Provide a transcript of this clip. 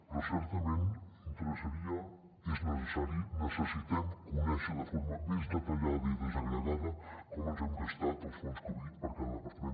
però certament interessaria és necessari necessitem conèixer de forma més detallada i desagregada com ens hem gastat els fons covid per cada departament